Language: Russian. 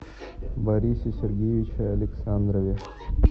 борисе сергеевиче александрове